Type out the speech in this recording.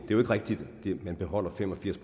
jo ikke rigtigt at man beholder fem og firs